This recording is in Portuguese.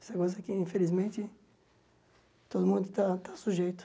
Isso é coisa que, infelizmente, todo mundo está está sujeito.